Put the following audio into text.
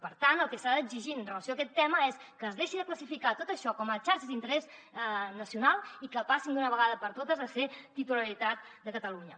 per tant el que s’ha d’exigir en relació amb aquest tema és que es deixi de classificar tot això com a xarxes d’interès nacional i que passin d’una vegada per totes a ser de titularitat de catalunya